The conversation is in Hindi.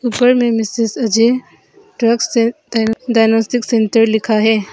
ऊपर में Mrs A J drugs and diagnostic centre लिखा है।